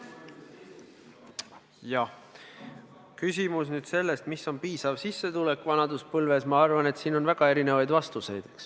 Jah, kui küsida, mis on piisav sissetulek vanaduspõlves, siis ma arvan, et on väga erinevaid vastuseid.